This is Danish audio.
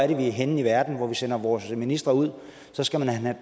end er henne i verden vi sender vores ministre ud så skal de have